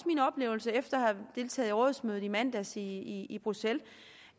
min oplevelse efter at deltaget i rådsmødet i mandags i bruxelles